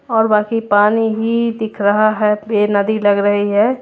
और बाकी पानी ही दिख रहा है। बे नदी लग रही है।